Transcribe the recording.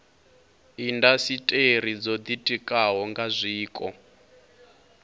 indasiteri dzo ditikaho nga zwiko